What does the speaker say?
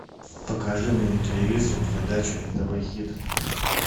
покажи мне на телевизоре передачу нтв хит